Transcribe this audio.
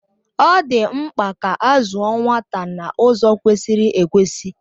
Ọ di mpka ka azụọ nwata na ụzọ kwesịrị ekwesị.